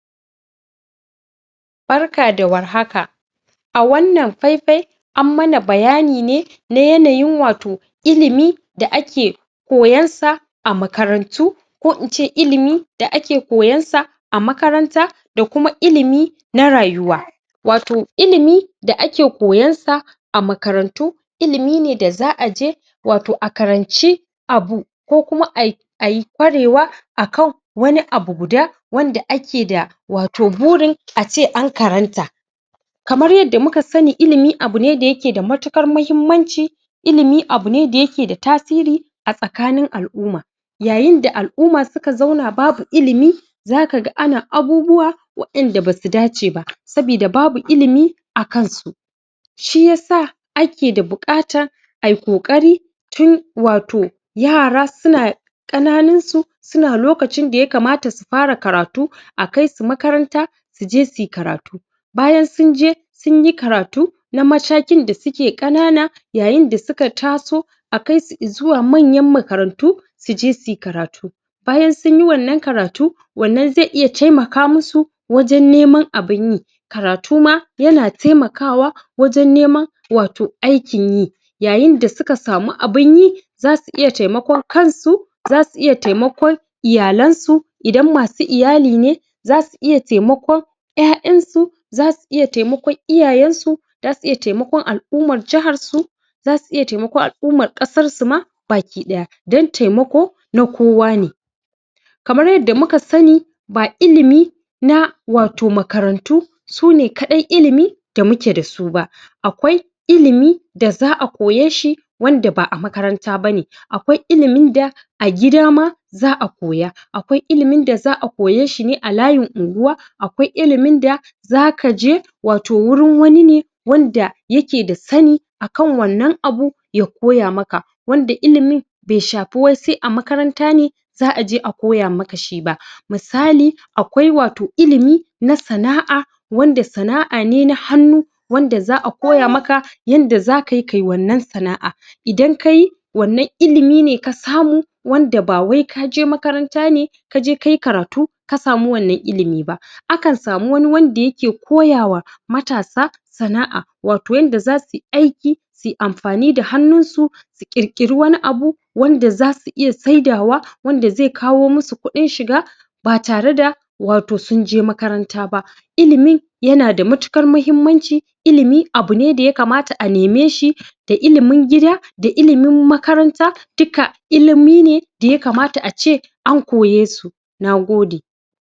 Barka da warhaka a wannan faifai an mana bayani ne na yanayin wato ilimi da ake koyan sa a makarantu ko ince ilimi da ake koyan sa a makaranta da kuma ilimi na rayuwa wato ilimi da ake koyan sa a makarantu ilimi ne da za'a je wato a karanci abu ko kuma ai ai ƙwarewa akan wani abu guda wanda ake da wato buri a ce an karanta kamar yadda muka sani ilimi abu ne da yake da matuƙar mahimmanci ilimi abu ne da yake da tasiri a tsakanin al'umma yayin da al'umma suka zauna babu ilimi zaka ga ana abubuwa waƴanda basu dace ba sabida babu ilimi a kan su shi yasa ake da buƙatan ai ƙoƙari tun wato yara suna ƙananun su suna lokacin da yakamata su fara karatu a kai su makaranta su je suyi karatu bayan sun je sun yi karatu na matakin da suke ƙanana yayin da su ka taso a kai su izuwa manyan makarantu su je suyi karatu bayan sun yi wannan karatu wannan ze iya taimaka musu wajen neman abin yi karatu ma yana taimakawa wajen neman wato aikin yi yayin da suka samu abin yi zasu iya taimakon kan su zasu iya taimakon iyalan su idan masu iyali ne, zasu iya taimakon ƴaƴan su zasu iya taimakon iyayen su zasu iya taimakon al'ummar jahar su zasu iya taimakon al'ummar ƙasar su ma bakiɗaya dan taimako na kowa ne kamar yadda muka sani ba ilimi na wato makarantu sune kaɗai ilimi da muke da su ba akwai ilimi da za'a koye shi wanda ba'a makaranta bane, akwai ilimin da a gida ma za'a koya akwai ilimin da za'a koye shi ne a layin unguwa akwai ilimin da zaka je wato wurin wani ne wanda ya ke da sani akan wannan abu ya koya maka, wanda ilimin be shafi wai se a makaranta ne za'a aje a koya maka shi ba, misali akwai wato ilimi na sana'a wanda sana'a ne na hannu wanda za'a koya maka yanda zaka yi kai wannan sana'a idan kayi wannan ilimi ne ka samu wanda ba wai ka je makaranta ne ka je kai karatu ka samu wannan ilimi ba akan samu wani wanda yake koya wa matasa sana'a wato yanda zasu yi aiki suyi amfani da hannun su su ƙirƙiri wani abu wanda zasu iya saidawa wanda zai kawo musu kuɗin shiga ba tare da wato sun je makaranta ba ilimi yana da matuƙar mahimmanci ilimi abu ne da yakamata a neme shi da ilimin gida da ilimin makaranta duka ilimi ne da yakamata a ce an koye su, na gode.